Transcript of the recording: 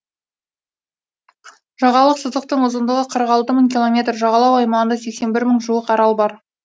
жағалық сызықтың ұзындығы қырық алты мың километр жағалау аймағында сексен бір мың жуық арал бар